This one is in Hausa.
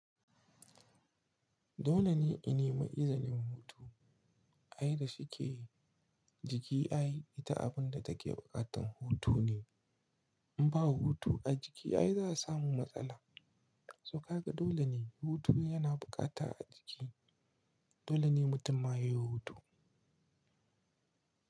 Dole ne in nemi izinin hutu. Ai da shike jiki ai ita abun da take buƙatan hutu ne. In ba hutu a jiki ai za su samu matsala. So kaga dole ne hutu yana bukata a jiki. Dole ne mutum ma yayi hutu.